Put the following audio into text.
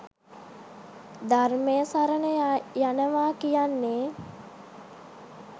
ධර්මය සරණ යනවා කියන්නේ.